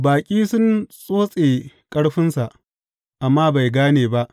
Baƙi sun tsotse ƙarfinsa, amma bai gane ba.